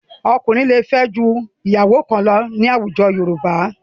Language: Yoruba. Ọkùnrin lè fẹ́ ju ìyàwó kan lọ ní àwùjọ Yorùbá.